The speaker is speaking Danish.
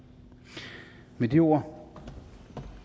med de ord